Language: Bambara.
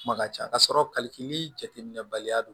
Kuma ka ca ka sɔrɔ kalifitini jateminɛ baliya don